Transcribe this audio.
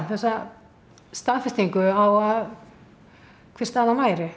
þessa staðfestingu á að hver staðan væri